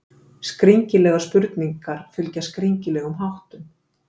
Skringilegar spurningar fylgja skringilegum háttum.